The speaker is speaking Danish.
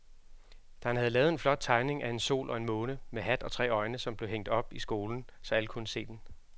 Dan havde lavet en flot tegning af en sol og en måne med hat og tre øjne, som blev hængt op i skolen, så alle kunne se den.